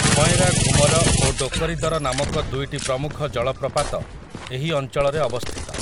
ଭଏଁରାଘୁମର ଓ ଡୋକରୀଦର ନାମକ ଦୁଇଟି ପ୍ରମୁଖ ଜଳପ୍ରପାତ ଏହି ଅଞ୍ଚଳରେ ଅବସ୍ଥିତ ।